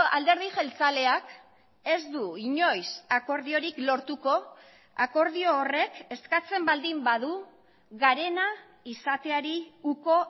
alderdi jeltzaleak ez du inoiz akordiorik lortuko akordio horrek eskatzen baldin badu garena izateari uko